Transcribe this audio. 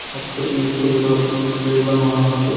ಮತ್ತು ಈ ಕುರಿಗಳು ಬಿಳಿ ಬಣ್ಣವನ್ನು ಹೊಂದಿದೆ.